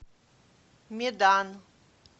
медан